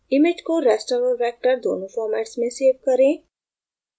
image को raster और vector दोनों formats में सेव करें